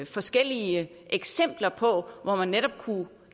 forskellige eksempler på hvor man netop kunne